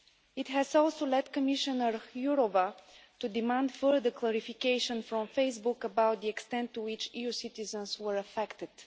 It has also led Commissioner Jourová to demand further clarification from Facebook about the extent to which EU citizens were affected.